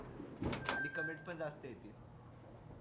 आणि comments पण जास्त येतील